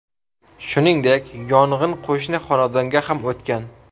Shuningdek, yong‘in qo‘shni xonadonga ham o‘tgan.